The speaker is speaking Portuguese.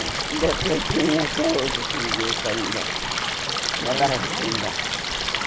Ainda tem tem até hoje aquele grupo ainda, na Barra Funda.